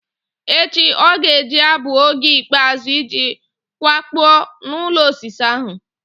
Echi ọ ga-abụ oge ikpeazụ iji kwakpuo n'ụlọ osisi ahụ?